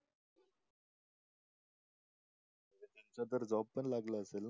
तिला तर job पण लागला असेल ना